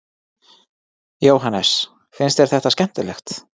Jóhannes: Finnst þér þetta skemmtilegt?